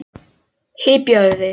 Hypjaðu þig.